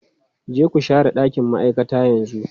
Je ku share ɗakin ma'aikata yanzu!